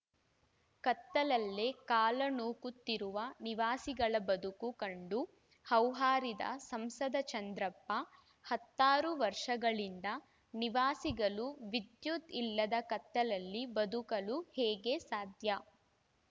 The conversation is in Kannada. ಕತ್ತಲಲ್ಲೇ ಕಾಲ ನೂಕುತ್ತಿರುವ ನಿವಾಸಿಗಳ ಬದುಕು ಕಂಡು ಹೌಹಾರಿದ ಸಂಸದ ಚಂದ್ರಪ್ಪ ಹತ್ತಾರು ವರ್ಷಗಳಿಂದ ನಿವಾಸಿಗಳು ವಿದ್ಯುತ್‌ ಇಲ್ಲದೆ ಕತ್ತಲಲ್ಲಿ ಬದುಕಲು ಹೇಗೆ ಸಾಧ್ಯ